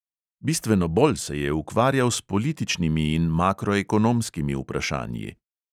Bistveno bolj se je ukvarjal s političnimi in makroekonomskimi vprašanji.